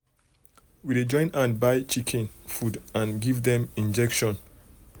we dey join hand buy um chicken um food and um give dem injection.